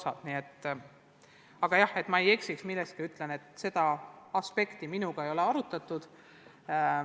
Aga et ma milleski ei eksiks, siis ütlen, et seda aspekti minuga ei ole arutatud.